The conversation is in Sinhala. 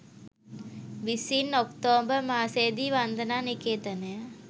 විසින් ඔක්තෝබර් මාසයේදී වන්දනා නිකේතනය